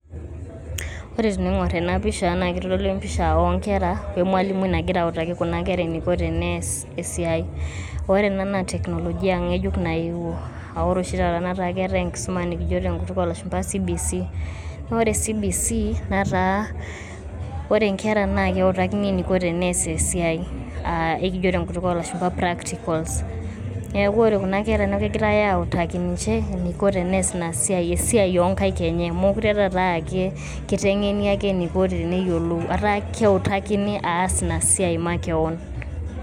Ore teing`orr ena pisha naa keitodolu empisah oo nkera o emalimui nagira autaki kunakera eniko teneas esiai. Ore ena naa teknolojia ng`ejuk nayewuo. Aah ore oshi taata netaa keetae enkisuma nikijo tenkutuk oo lashumpa C.B.C. Naa ore c.b.c netaa ore nkera naa keutakini eniko teneas esiai aa ekijo tenkutuk oo lashumpa practicals. Niaku ore kuna kera naa kegirai autaki ninche eniko teneas ina siai esiai oo nkaik enye. Meekure taata aa kiteng`eni ake eniko teneyiolou etaa keutakini aas ina siai makewon.